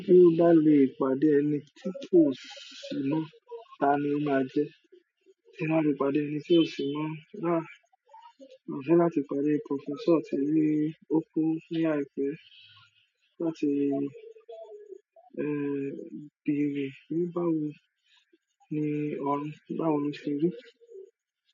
Bí n bá lè pàdé ẹni tí kò ṣì mọ̀, ta ni o máa jẹ́? Tí n bá lè pàdé ẹni tí ò ṣì mọ̀, aah máa fẹ́ láti pàdé professor tí í o kú ní àìpé láti, eh, bèrè ní báwo ni orun, báwo lo ṣe rí.